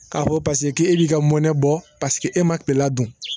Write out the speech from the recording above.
K'a fɔ paseke k'e b'i ka mɔnɛ bɔ paseke e ma perela dun